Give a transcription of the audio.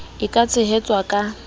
e ka tshehetswang ka h